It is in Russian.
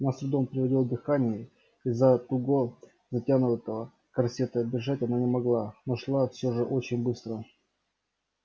она с трудом переводила дыхание из-за туго затянутого корсета бежать она не могла но шла всё же очень быстро